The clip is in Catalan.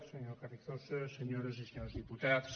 senyor carrizosa senyores i senyors diputats